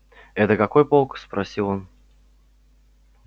это какой полк спросил он